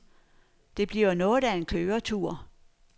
Det bliver noget af en køretur.